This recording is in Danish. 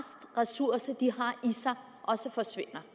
i sig også forsvinder